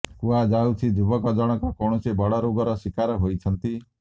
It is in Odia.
କୁହାଯାଉଛି ଯୁବକ ଜଣକ କୌଣସି ବଡ଼ ରୋଗର ଶିକାର ହୋଇଛନ୍ତି